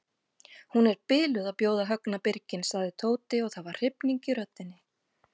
Hún er biluð að bjóða Högna birginn sagði Tóti og það var hrifning í röddinni.